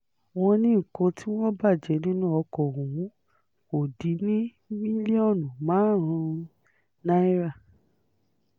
wọ́n ní nǹkan tí wọ́n bàjẹ́ nínú ọkọ̀ ọ̀hún kò dín ní mílíọ̀nù márùn-ún náírà